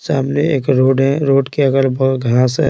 सामने एक रोड हैरोड के अगर बगर घास है।